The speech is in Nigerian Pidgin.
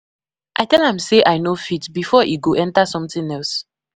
I tell am say I no fit before e go enter something else.